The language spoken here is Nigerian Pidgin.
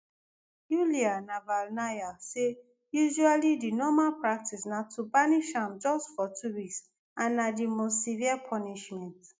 yulia navalnaya say usually di normal practice na to banish am just for two weeks and na di most severe punishment